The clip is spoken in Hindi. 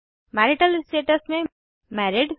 मैरिटल स्टेटस में मैरिड